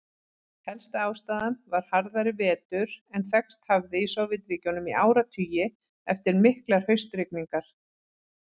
Helsta ástæðan var harðari vetur en þekkst hafði í Sovétríkjunum í áratugi, eftir miklar haustrigningar.